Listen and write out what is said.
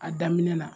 A daminɛ na